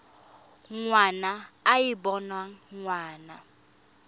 ngwana e e boneng ngwana